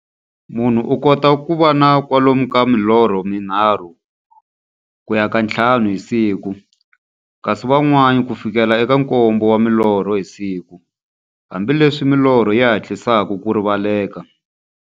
Munhu u kota ku va na kwalomu ka milorho mi nharhu ku ya ka ya nthlanu hi siku, kasi van'wana ku fikela eka nkombo wa milorho hi siku, hambileswi milorho yi hatlisaka ku rivaleka.